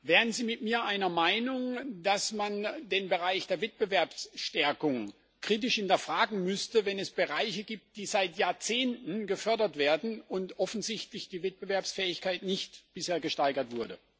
Wären Sie mit mir einer Meinung, dass man den Bereich der Wettbewerbsstärkung kritisch hinterfragen müsste, wenn es Bereiche gibt, die seit Jahrzehnten gefördert werden und offensichtlich die Wettbewerbsfähigkeit bisher nicht gesteigert wurde?